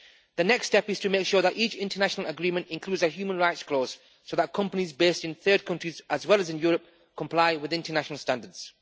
The next step is to make sure that each international agreement includes a human rights clause so that companies based in third countries, as well as in Europe, comply with international standards.